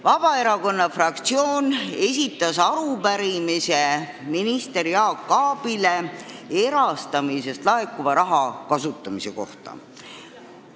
Vabaerakonna fraktsioon esitas minister Jaak Aabile arupärimise erastamisest laekuva raha kasutamise kohta.